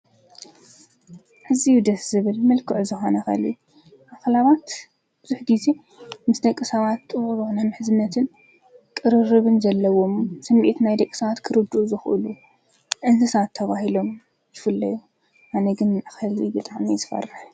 እዝ ደስ ዝብል መልክዕ ዝሓነኸልዩ ኣኸላባት ዙኅጊዜ ምስ ደቂ ሳባት ጥውርና ምሕዝነትን ቕርርብን ዘለዎም ስሚኤት ናይ ደቀሳዋት ክርዱ ዝዂሉ እንስሳተባሂሎም ይፍለዩ ኣነግን ኣኸልቢ ብጣም ዘፈርልሕ ።